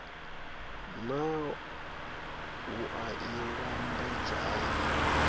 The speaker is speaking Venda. naa wua i lambedzwa hani